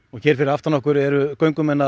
hér fyrir aftan okkur eru göngumenn að